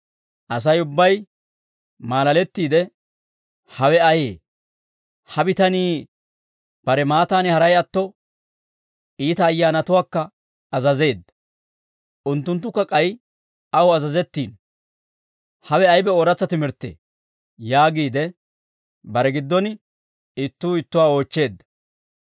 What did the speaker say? Asay ubbay maalalettiide, «Hawe ayee? Ha bitanii bare maattaani haray atto, iita ayyaanatuwaakka azazeedda; unttunttukka k'ay aw azazettiino; hawe aybe ooratsa timirttee?» yaagiide, bare giddon ittuu ittuwaa oochcheedda.